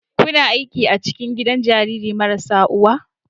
Kuna aiki a cikin gidan jarirai marasa uwa?